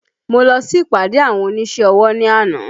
Mo lọ sí ìpàdé àwọn oníṣẹ́ ọwọ́ ní àná